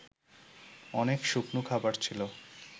অনেক শুকনো খাবার ছিল